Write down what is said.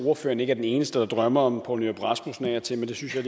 ordføreren ikke er den eneste der drømmer om poul nyrup rasmussen af og til men det synes jeg